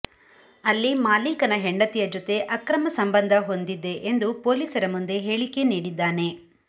ಅಲ್ಲಿ ಮಾಲೀಕನ ಹೆಂಡತಿಯ ಜೊತೆ ಅಕ್ರಮ ಸಂಬಂಧ ಹೊಂದಿದ್ದೆ ಎಂದು ಪೊಲೀಸರ ಮುಂದೆ ಹೇಳಿಕೆ ನೀಡಿದ್ದಾನೆ